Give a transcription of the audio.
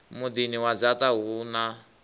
muḓini wa dzaṱa huno ha